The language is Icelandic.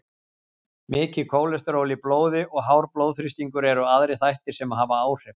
Mikið kólesteról í blóði og hár blóðþrýstingur eru aðrir þættir sem hafa áhrif.